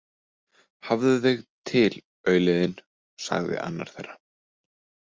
Hafðu þig til, aulinn þinn, sagði annar þeirra.